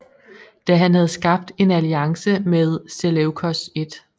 Da han havde skabt en alliance med Seleukos 1